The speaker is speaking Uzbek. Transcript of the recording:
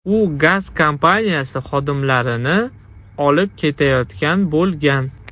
U gaz kompaniyasi xodimlarini olib ketayotgan bo‘lgan.